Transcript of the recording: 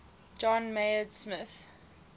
john maynard smith